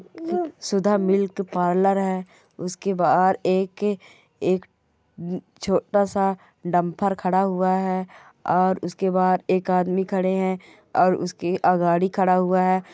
सुधा milk parlour है उसके बाहर एक एक छोटा-सा डंपर खड़ा हुआ है और उसके बाहर आदमी खड़ा है और उसके गाड़ी--